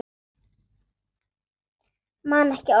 Man ekki orð mömmu.